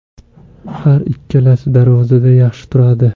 Har ikkalasi darvozada yaxshi turadi.